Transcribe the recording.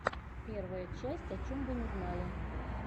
первая часть о чем вы не знали